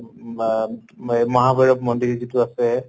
মা মগাভৈৰৱ মন্দিৰ যিটো আছে